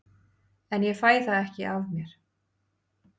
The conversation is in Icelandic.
En ég fæ það ekki af mér.